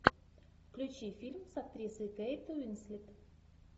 включи фильм с актрисой кейт уинслет